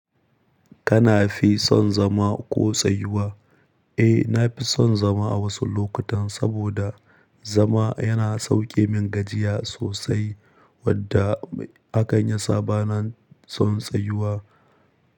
Kana fi son zama ko tsayuwa? Eh, na fi son zama a wasu lokutan saboda, zama yana sauke min gajiya sosai. Wadda haka yasa ba na son tsayuwa.